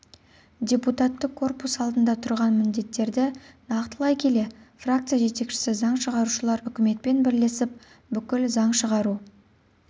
депутаттық корпус алдында тұрған міндеттерді нақтылай келе фракция жетекшісі заң шығарушылар үкіметпен бірлесіп бүкіл заң шығару